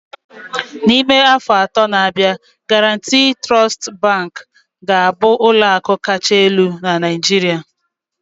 N'ime afọ atọ na-abịa, Guaranty Trust Bank ga-abụ ụlọ akụ kacha elu na Naijiria